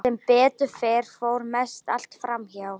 Sem betur fer fór mest allt fram hjá.